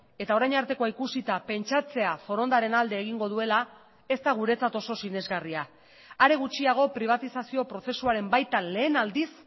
eta orain artekoa ikusita pentsatzea forondaren alde egingo duela ez da guretzat oso sinesgarria are gutxiago pribatizazio prozesuaren baitan lehen aldiz